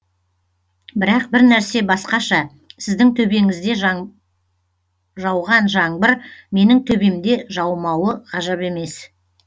бірақ бір нәрсе басқаша сіздің төбеңізде жауған жаңбыр менің төбемде жаумауы ғажап емес